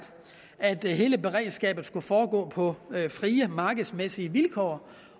at hele beredskabet skulle foregå på frie markedsmæssige vilkår